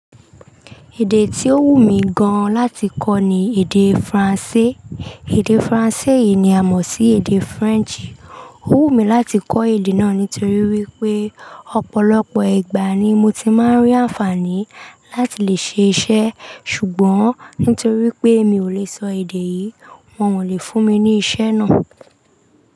Èdè tí ó wù mí gan láti kọ́ ni èdè Faransé. Èdè Faransé yìí ni a mọ̀ sí èdè French. Ó wù mí láti kọ́ èdè náà nítorí wípé ọ̀pọ̀lọpọ̀ ìgbà ni mo ti máa ń rí àǹfààní láti lè ṣe iṣẹ́. Ṣùgbọ́n nítorí pé mi ò lè sọ èdè yìí, wọ́n ò lè fún mi ní iṣẹ́ náà.